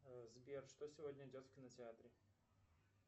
сбер что сегодня идет в кинотеатре